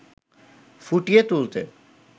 ফুটিয়ে তুলতে